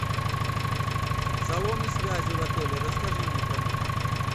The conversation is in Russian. салоны связи в отеле расскажи мне про них